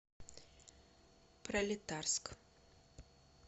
пролетарск